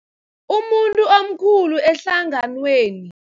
Umuntu omkhulu ehlanganweni.